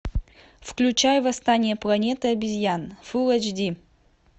включай восстание планеты обезьян фул эйч ди